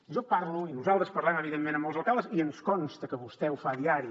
jo parlo i nosaltres parlem evidentment amb molts alcaldes i ens consta que vostè ho fa a diari